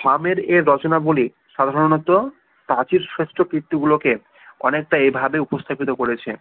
হামের এই দর্শনাবলি সাধারণত প্রাচীর ষষ্ঠ কীর্তিগুলো কে অনেক টা এভাবে উপস্থাপিত করেছে